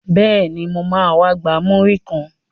Bẹ́ẹ̀ni, mo ma wá gba múrí kan